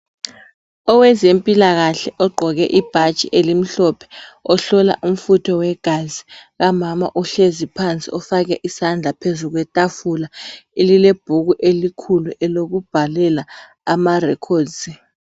Owezempilakahle ogqoke ibhatshi elimhlophe ohlola umfutho wegazi kamama uhlezi phansi ufake isandla phezu kwetafula. Elilebhuku elikhulu elokubhalela amarecords.